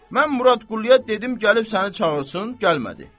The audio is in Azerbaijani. Mən Murad Qulluya dedim gəlib səni çağırsın, gəlmədi.